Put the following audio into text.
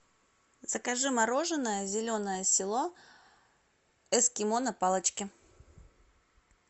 закажи мороженое зеленое село эскимо на палочке